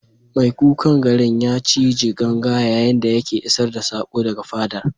Mai kukan garin ya cije ganga yayin da yake isar da sako daga fadar.